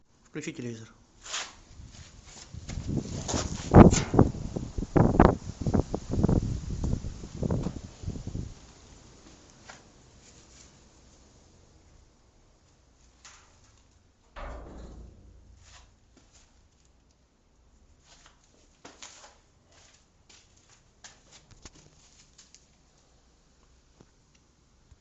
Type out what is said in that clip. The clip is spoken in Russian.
включи телевизор